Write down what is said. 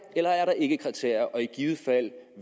eller er der ikke kriterier og i givet fald